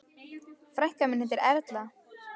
Frænka mín heitir Erla.